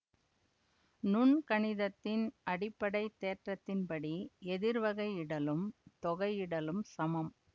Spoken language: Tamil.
நுண்கணிதத்தின் அடிப்படை தேற்றத்தின்படி எதிர்வகையிடலும் தொகையிடலும் சமம்